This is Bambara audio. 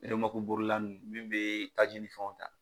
bolila ninnu minnu bɛ taji ni fɛnw ta.